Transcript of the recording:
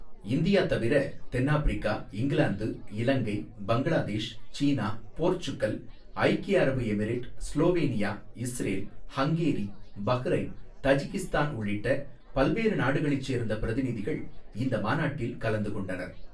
India தவிர, தென்னாப்பிரிக்கா, England, Ilangai, Bangladesh, China, Portugal, ஐக்கிய அரபு Emirate, Slovenia, Israel, Hungary, Bahrain, Tajikistan உள்ளிட்ட பல்வேறு நாடுகளைச் சேர்ந்த பிரதிநிதிகள் இந்த மாநாட்டில் கலந்து கொண்டனர்.